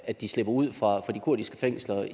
at de slipper ud fra de kurdiske fængsler